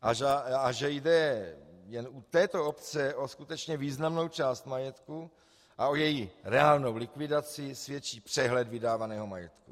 A že jde jen u této obce o skutečně významnou část majetku a o její reálnou likvidaci, svědčí přehled vydávaného majetku: